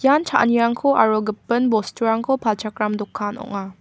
ian cha·anirangko aro gipin bosturangko palchakram dokan ong·a.